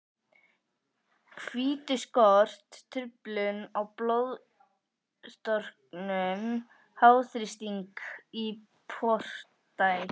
hvítuskort, truflun á blóðstorknun, háþrýsting í portæð.